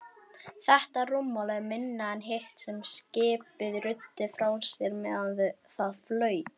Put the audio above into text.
Þetta rúmmál er minna en hitt sem skipið ruddi frá sér meðan það flaut.